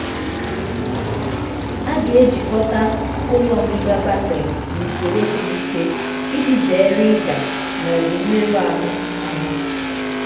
a ga-ejikọta ụlọ ngịga batrị n'usoro siri ike iji zere ịda ma ọ bụ mmerụ ahụ. ahụ.